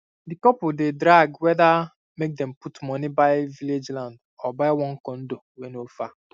di couple dey drag whether make dem put money buy village land or buy one condo wey no far